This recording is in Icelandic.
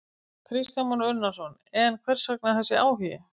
Kristján Már Unnarsson: En hvers vegna þessi áhugi?